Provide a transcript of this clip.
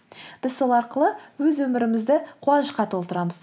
біз сол арқылы өз өмірімізді қуанышқа толтырамыз